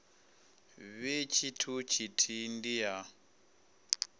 vhe tshithu tshithihi ndi ya